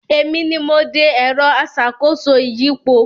Èmi ni mo de “ẹ̀rọ aṣàkóso ìyípo”